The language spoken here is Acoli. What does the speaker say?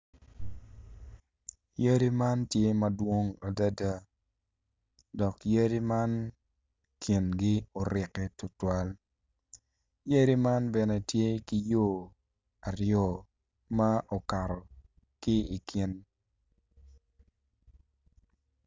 Yadi man tye madwong adada dok yadi man kingi orikke tutwal yadi man bene tye ki yo aryo ma ukato ki i kin